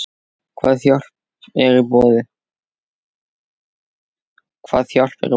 Hvað hjálp er í boði?